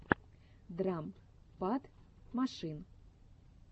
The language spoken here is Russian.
драм пад машин